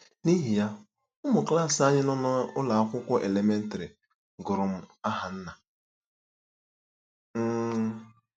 N’ihi ya, ụmụ klas anyị nọ n’ụlọ akwụkwọ elementrị gụrụ m aha nna. um